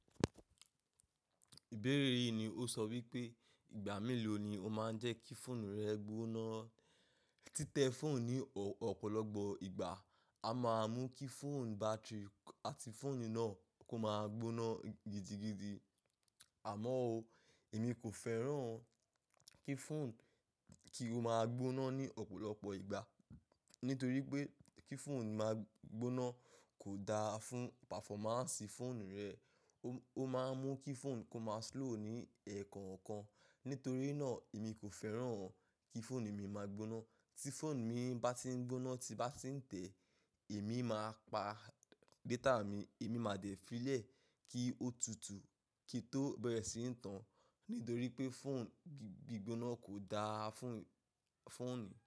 Ìbéèrè yìí ni ó sọ wípé ìgbà mélòó ni ó máa ń jẹ́ kí fóònù rẹ gbóná. Títẹ fóònù ní ọ̀pọ̀lọpọ̀ ìgbà a máa mú kí fóònù bátìrì àti fóònù náà kó máa gbóná gidigidi. Àmọ́ ó, èmi kò fẹ́ràn kí fóònù kí ó máa gbóná ní ọ̀pọ̀lọpọ̀ ìgbà. Nítorí pé kí fóònù máa gbóná kò da fún páfọ́máǹsì fóònù rẹ. Ó máa n mú kí fóònù kó máa slow ní ẹ̀ẹ̀kọ̀kan. Nítorí náà èmi kò fẹ́ràn kí fóònù mi máa gbóná. Tí fóònù mi bá ti ń gbóná ti n bá ti ń tẹ, èmi máa pa dẹ́tà mi, èmi máa de filẹ̀ kí ó tutù kí i tó bẹ̀rẹ̀ síi ń tan. Nítorí pé fóònù gbígbóná kò da fún fóònù.